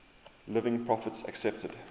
living prophets accepted